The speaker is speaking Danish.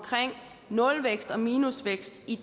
nulvækst og minusvækst i